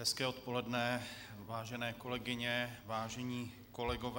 Hezké odpoledne, vážené kolegyně, vážení kolegové.